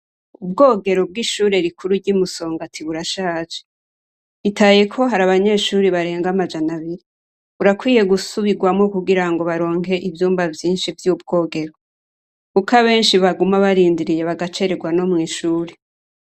Ubwogero bw'ishure rikuru ry'i Musongati burashaje. Bitayeko hari abanyeshure barenga amajana abiri. Burakwiye gusubirwamwo kugira ngo baronke ivyumba vyinshi vy'ubwogero kuko abenshi baguma barindiriye, bagacererwa no mw'ishure.